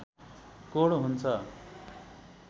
code हुन्छ